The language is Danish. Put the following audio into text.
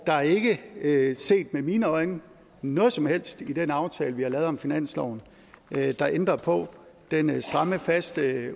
er ikke ikke set med mine øjne noget som helst i den aftale vi har lavet om finansloven der ændrer på den stramme faste